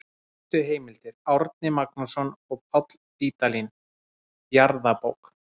Helstu heimildir: Árni Magnússon og Páll Vídalín, Jarðabók.